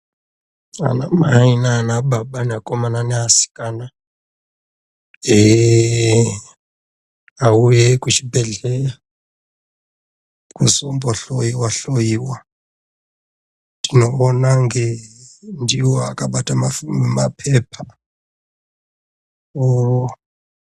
Anamai naanababa neakomana neasikana ehe auye kuchibhedhleya kuzombohloiwa-hloyiwa. Tinoona ndiwo akabata mapepa...